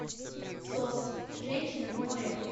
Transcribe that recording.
сос женщины в море